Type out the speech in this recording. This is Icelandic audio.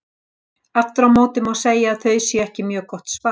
Aftur á móti má segja að þau séu ekki mjög gott svar.